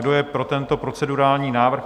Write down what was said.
Kdo je pro tento procedurální návrh?